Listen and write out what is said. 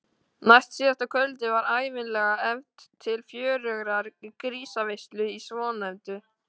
Næstsíðasta kvöldið var ævinlega efnt til fjörugrar grísaveislu í svonefndu